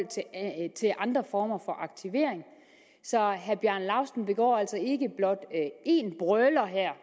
til andre former for aktivering så herre bjarne laustsen begår altså ikke blot én brøler her